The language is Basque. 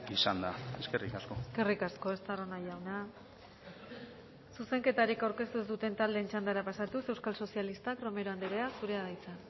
izanda eskerrik asko eskerrik asko estarrona jauna zuzenketarik aurkeztu ez duten taldeen txandara pasatuz euskal sozialistak romero andrea zurea da hitza